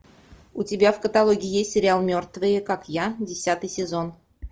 у тебя в каталоге есть сериал мертвые как я десятый сезон